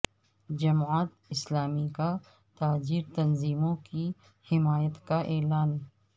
جماعت اسلامی کا تاجر تنظیموں کی حمایت کا اعلان